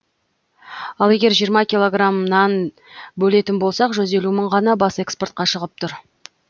ал егер жиырма килограммнан бөлетін болсақ жүз елу мың ғана бас экспортқа шығып тұр